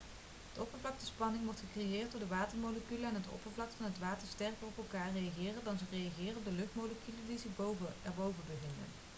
de oppervlaktespanning wordt gecreëerd doordat de watermoleculen aan het oppervlak van het water sterker op elkaar reageren dan dat ze reageren op de luchtmoleculen die zich erboven bevinden